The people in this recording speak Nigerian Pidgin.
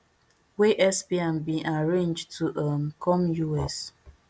wey epstein bin arrange to um come us